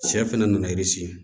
Sɛ fana nana i sigi